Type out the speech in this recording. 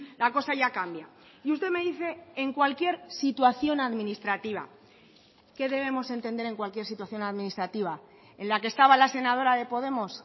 la cosa ya cambia y usted me dice en cualquier situación administrativa qué debemos entender en cualquier situación administrativa en la que estaba la senadora de podemos